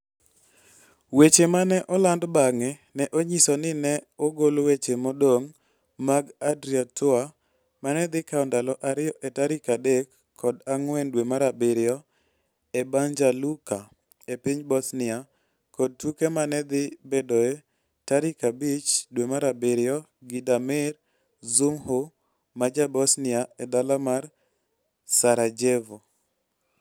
Weche ma ne oland bang'e ne onyiso ni ne ogol weche modong' mag Adria Tour, ma ne dhi kawo ndalo ariyo e tarik adek kod ang'wen dwe mar abirio e Banja Luka, e piny Bosnia, kod tuke ma ne dhi bedoe e tarik abich dwe mar abiriyo gi Damir Dzumhur ma Ja-Bosnia e dala mar Sarajevo.